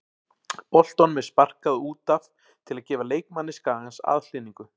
Boltanum er sparkað út af til að gefa leikmanni Skagans aðhlynningu.